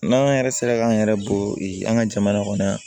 N'an yɛrɛ sera k'an yɛrɛ bɔ an ka jamana kɔnɔ yan